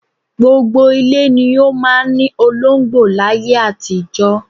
Gbogbo ilé ni ó máa ń ní olóńgbò láyé àtijọ́